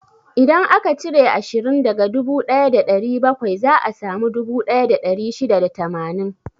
Idan aka cire ashirin daga dubu ɗaya da ɗari bakwai, za a samu dubu ɗaya da ɗari shida da tamanin.